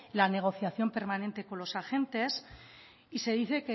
la negociación permanente con los agentes y se dice